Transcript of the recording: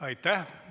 Aitäh!